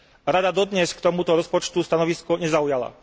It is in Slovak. Rada dodnes k tomuto rozpočtu stanovisko nezaujala.